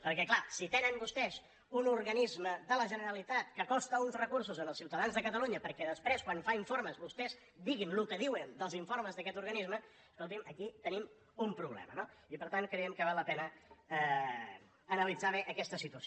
perquè és clar si tenen vostès un organisme de la generalitat que costa uns recursos als ciutadans de catalunya perquè després quan fa informes vostès diguin el que diuen dels informes d’aquest organisme escolti’m aquí tenim un problema no i per tant creiem que val la pena analitzar bé aquesta situació